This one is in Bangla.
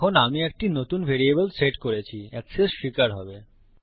এখন আমি একটি নতুন ভ্যারিয়েবল সেট করেছিএক্সেস স্বীকার হবে